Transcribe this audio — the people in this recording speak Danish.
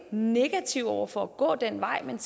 negative over for at gå den vej men